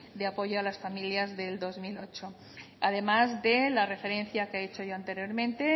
de apoyo a las familias del dos mil ocho además de la referencia que he hecho yo anteriormente